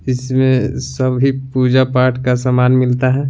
इसमें सभी पूजा पाठ का सामान मिलता है।